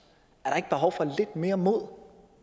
er der ikke behov for lidt mere mod